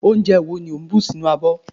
onje wo ni o n bu sinu abo